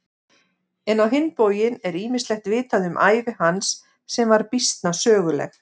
En á hinn bóginn er ýmislegt vitað um ævi hans sem var býsna söguleg.